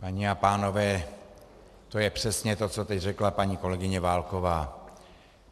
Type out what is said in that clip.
Paní a pánové, to je přesně to, co teď řekla paní kolegyně Válková.